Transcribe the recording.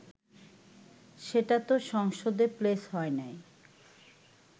সেটাতো সংসদে প্লেস হয় নাই